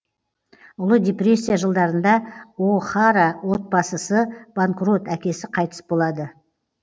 ұлы депрессия жылдарында о хара отбасысы банкрот әкесі қайтыс болады